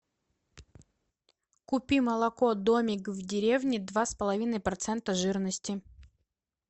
купи молоко домик в деревне два с половиной процента жирности